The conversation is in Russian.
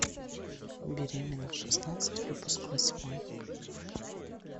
беременна в шестнадцать выпуск восьмой